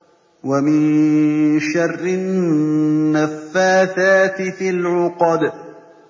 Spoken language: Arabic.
وَمِن شَرِّ النَّفَّاثَاتِ فِي الْعُقَدِ